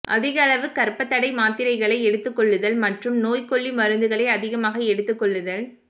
அதிக அளவு கர்ப்பத்தடை மாத்திரைகளை எடுத்துக்கொள்ளுதல் மற்றும் நோய்க்கொல்லி மருந்துகளை அதிகமாக எடுத்துக்கொள்ளுதல்